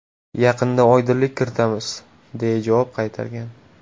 Yaqinda oydinlik kiritamiz”, deya javob qaytargan.